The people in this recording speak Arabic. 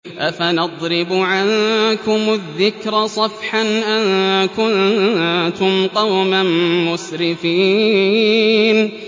أَفَنَضْرِبُ عَنكُمُ الذِّكْرَ صَفْحًا أَن كُنتُمْ قَوْمًا مُّسْرِفِينَ